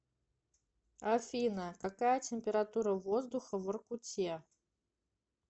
афина какая температура воздуха в воркуте